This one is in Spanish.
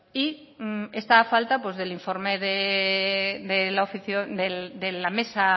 y está a falta del informe de la mesa